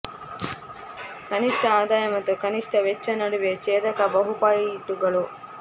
ಕನಿಷ್ಠ ಆದಾಯ ಮತ್ತು ಕನಿಷ್ಠ ವೆಚ್ಚ ನಡುವೆ ಛೇದಕ ಬಹು ಪಾಯಿಂಟುಗಳು